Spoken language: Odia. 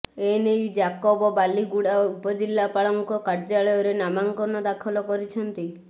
ଏନେଇ ଯାକବ ବାଲିଗୁଡ଼ା ଉପଜିଲ୍ଲାପାଳଙ୍କ କାର୍ଯ୍ୟାଳୟରେ ନାମାଙ୍କନ ଦାଖଲ କରିଛନ୍ତି